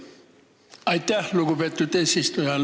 Aitäh, lugupeetud eesistuja!